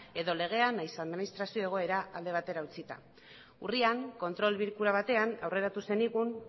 edo legea nahiz administrazioa egoera alde batera utzita urrian kontrol bilkura batean aurreratu zenigun